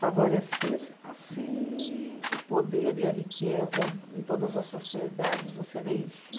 favorecer assim o poder e a riqueza, em todas as sociedades você vê isso.